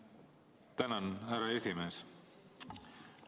Tänan, härra esimees!